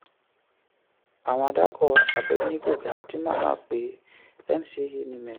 àwọn àdàkọ: abednego galadima naape ncaa nimet